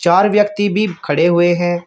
और व्यक्ति भी खड़े हुए हैं।